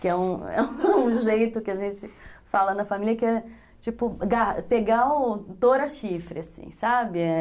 Que é um jeito que a gente fala na família que é, tipo, pegar o touro a chifre, assim, sabe?